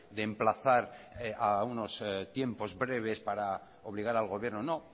de emplazar a unos tiempos breves para obligar al gobierno no